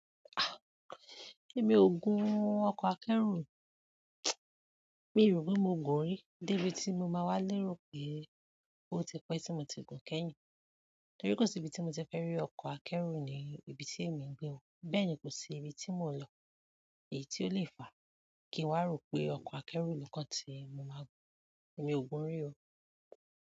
Èmi ò gun ọkọ̀ akẹ́rù o. Mi o rò pé mo gùn-ún rí, débi tí mo máa wá lérò pé ó ti pẹ́ tí mo ti gùn-ún kẹ́yìn. Torí kò sí ibi tí mo ti fẹ́ rí ọkọ̀ akẹ́rù ní ibi tí èmi ń gbé o. Bẹ́ẹ̀ ni kò sí ibi tí mò ń lọ èyí tí ó lè fàá kí n wá ròó pé ọkọ̀ akẹ́rù ló kàn tí mo máa gùn. Èmi ò gùn-ún rí o.